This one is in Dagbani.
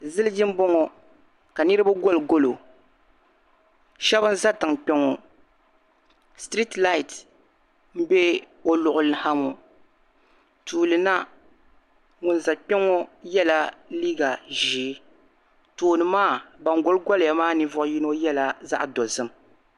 Ziliji m bɔŋɔ ka niriba gɔli golo shɛba n za tiŋ kpɛ ŋɔ "street light" m-be o luɣili ha ŋɔ tuuli na ŋun za kpɛ ŋɔ yɛla liiga zeei tooni maa ban gɔli gɔliya maa ninvuɣ'yino yɛla zaɣ'dozim